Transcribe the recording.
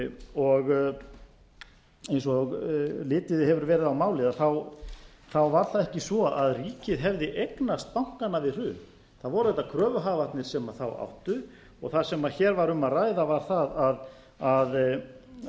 og eins og litið hefur verið á málið var það ekki svo að ríkið hefði eignast bankana við hrun það voru auðvitað kröfuhafarnir sem þá áttu og það sem hér var um að ræða var það að